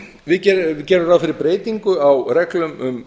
við gerum ráð fyrir breytingu á reglum um